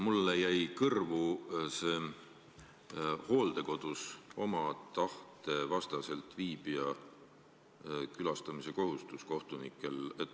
Mulle jäi kõrvu see kohtunike kohustus külastada hooldekodus oma tahte vastaselt viibijaid.